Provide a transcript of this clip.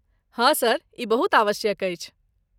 हँ। सर ई बहुत आवश्यक अछि।